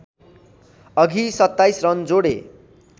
अघि ३७ रन जोडे